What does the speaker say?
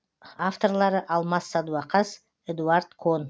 авторлары алмас садуақас эдуард кон